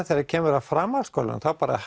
þegar kemur í framhaldsskóla